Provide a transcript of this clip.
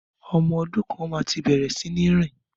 Ọmọ dún kàn màtí bẹẹrẹ sínì rin.